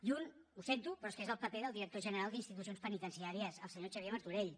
i un ho sento però és que és el paper del director general d’institucions penitenciàries el senyor xavier martorell